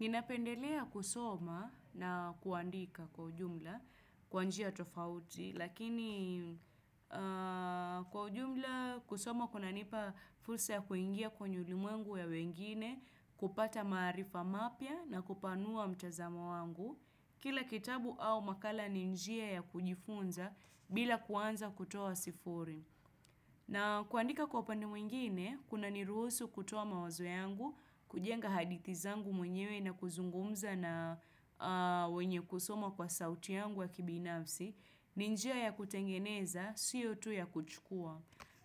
Ninapendelea kusoma na kuandika kwa jumla, kwa njia tofauti, lakini kwa ujumla kusoma kunanipa fursa ya kuingia kwenye ulimwengu ya wengine, kupata maarifa mapya na kupanua mtazamo wangu, kila kitabu au makala ni njia ya kujifunza bila kuanza kutoa sifuri. Na kuandika kwa upande mwingine, kunaniruhusu kutoa mawazo yangu, kujenga hadithi zangu mwenyewe na kuzungumza na wenye kusoma kwa sauti yangu ya kibinafsi, ni njia ya kutengeneza, sio tu ya kuchukua.